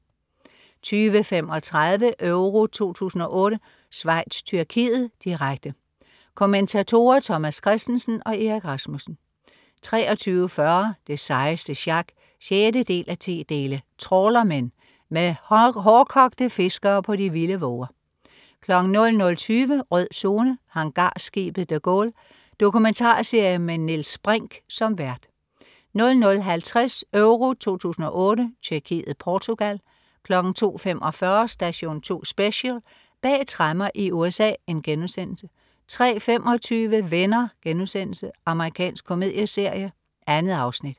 20.35 EURO 2008: Schweiz-Tyrkiet, direkte. Kommentatorer: Thomas Kristensen og Erik Rasmussen 23.40 Det sejeste sjak 6:10. Trawlermen. Med hårdkogte fiskere på de vilde våger 00.20 Rød Zone: Hangarskibet de Gaulle. Dokumentarserie med Niels Brinch som vært 00.50 EURO 2008: Tjekkiet-Portugal 02.45 Station 2 Special: Bag tremmer i USA* 03.25 Venner.* Amerikansk komedieserie. 2 afsnit